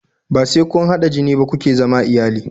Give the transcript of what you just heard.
Bai sai kun hada jini ba kuke zama iyali